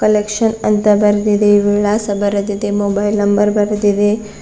Collection ಅಂತ ಬರೆದಿದೆ ವಿಳಾಸ ಬರೆದಿದೆ ಮೊಬೈಲ್ ನಂಬರ್ ಬರೆದಿದೆ.